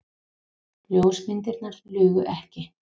Ljósmyndirnar lugu ekki.